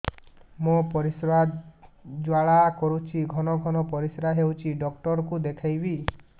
ମୋର ପରିଶ୍ରା ଜ୍ୱାଳା କରୁଛି ଘନ ଘନ ପରିଶ୍ରା ହେଉଛି ଡକ୍ଟର କୁ ଦେଖାଇବି